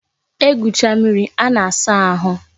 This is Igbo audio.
E gwucha mmiri a na-asa ahụ